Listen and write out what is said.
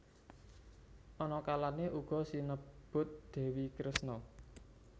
Ana kalane uga sinebut Dewi Kresna